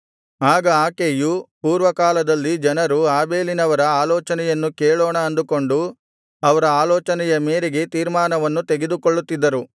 ಆಗ ಆಕೆಯು ಪೂರ್ವಕಾಲದಲ್ಲಿ ಜನರು ಆಬೇಲಿನವರ ಆಲೋಚನೆಯನ್ನು ಕೇಳೋಣ ಅಂದುಕೊಂಡು ಅವರ ಆಲೋಚನೆಯ ಮೇರೆಗೆ ತೀರ್ಮಾನವನ್ನು ತೆಗೆದುಕೊಳ್ಳುತ್ತಿದ್ದರು